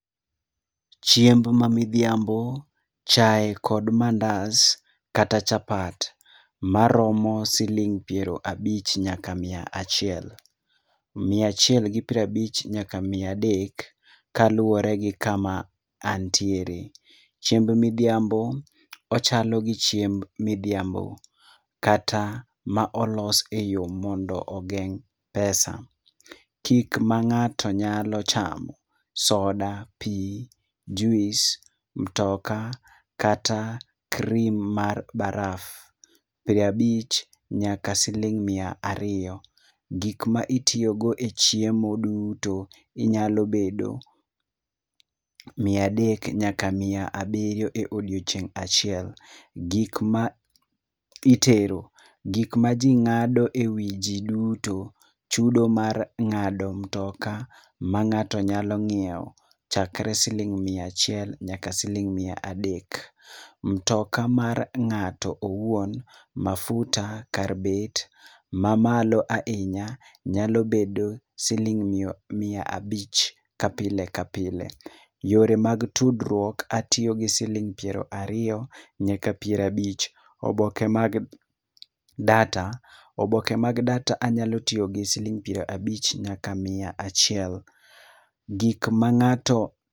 Chiemb ma midhiambo, chai kod mandas kata chapat maromo siling piero abich nyaka mia achiel. Mia achiel gi piero abich nyaka mia adek kaluwore gi kama antiere. Chiemb midhiambo, ochalo gi chiemb midhiambo kata ma olos e yo mondo ogeng' pesa. Gik ma ng'ato nyalo chamo; soda, pi, juis, mutoka, kata cream mar baraf. Piero abich nyaka siling mia ariyo. Gik ma itiyo godo e chiemo duto inyalo bedo mia adek nyaka mia abirio e odiochieng' achiel. Gik ma itero, gik ma ji ng'ado e wi ji duto, chudo mar ng'ado mtoka, ma ng'ato nyalo ng'iewo - chakre siling mia achiel nyaka mia adek. Mtoka mar ng'ato owuon, mafuta kar bet mamalo ahinya nyalo bedo siling' mia abich ka pile ka pile. Yore mag tudruok, atiyo gi siling' piero ariyo nyaka piero abich. Oboke mag data- oboke mag data anyalo tiyo gi siling' piero abich nyaka mia achiel. Gik ma ng'ato...